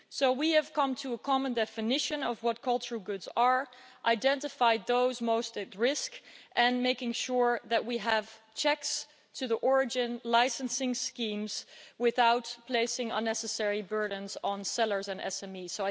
We have come to a common definition of what cultural goods are and identified those most at risk, and are making sure that we have checks on the origin licensing schemes without placing unnecessary burdens on sellers and SMEs.